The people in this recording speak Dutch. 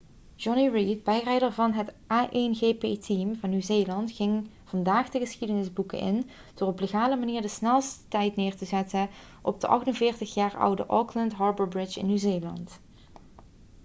jonny reid bijrijder van het a1gp-team van nieuw-zeeland ging vandaag de geschiedenis boeken in door op legale manier de snelst tijd neer te zetten op de 48-jaar oude auckland harbour bridge in nieuw-zeeland